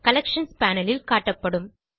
collections panel ல் காட்டப்படும்